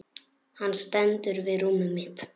Hann stendur við rúmið mitt.